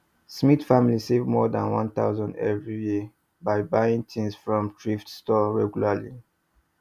smith family save more than 1000 every year by buying things from thrift stores regularly